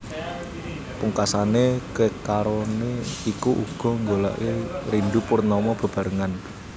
Pungkasané kekaroné iku uga nggolèki Rindu Purnama bebarengan